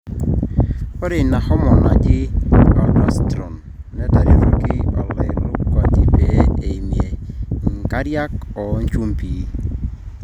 ore ina homorne naji aldosterone neretoki olairakuji pee eimie inkariak oenjumbi